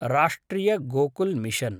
राष्ट्रिय गोकुल् मिशन्